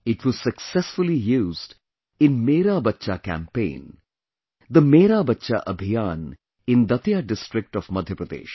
It was successfully used in "Mera Bachha Campaign"; the "Mera Bachha Abhiyan" in Datia district of Madhya Pradesh